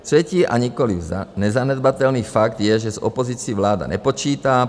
Třetí a nikoliv nezanedbatelný fakt je, že s opozicí vláda nepočítá.